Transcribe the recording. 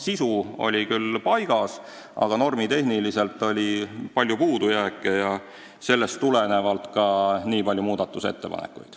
Sisu oli küll paigas, aga normitehniliselt oli palju puudujääke ja sellest tulenevalt ongi nii palju muudatusettepanekuid.